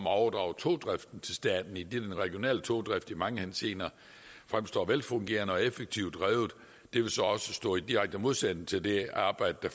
at overdrage togdriften til staten eftersom den regionale togdrift i mange henseender fremstår velfungerende og effektivt drevet det vil så også stå i direkte modsætning til det arbejde